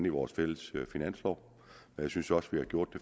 i vores fælles finanslov jeg synes jo også vi har gjort det